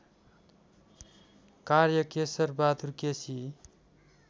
कार्य केशरबहादुर केसी